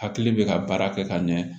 Hakili bɛ ka baara kɛ ka ɲɛ